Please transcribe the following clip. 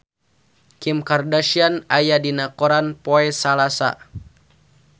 Kim Kardashian aya dina koran poe Salasa